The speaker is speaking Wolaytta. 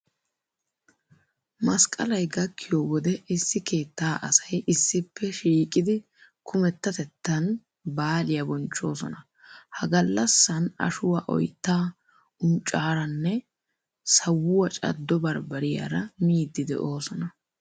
Masqqalay gakkiyo wode issi keettaa asay issippe shiiqidi kumettatettan baaliya bonchchoosona. Ha gallassan ashuwa oyttaa, unccaaranne sawuwa caddo barbbariyaara miiddi de'oosona.